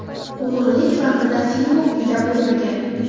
O‘g‘rilik vaqtida Figu uyida bo‘lmagan.